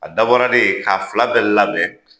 A dabɔra dee k'a fila bɛ labɛn